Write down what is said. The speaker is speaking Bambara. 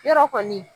Yɔrɔ kɔni